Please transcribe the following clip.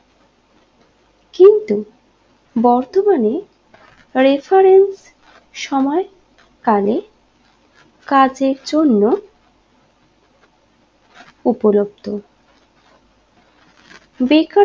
বর্তমানে refarence সময় কালে কাজের জন্য উপলব্ধ বেকার